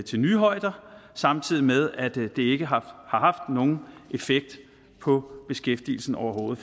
til nye højder samtidig med at det ikke har haft nogen effekt på beskæftigelsen overhovedet